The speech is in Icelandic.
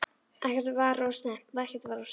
Ekkert var of snemmt og ekkert var of seint.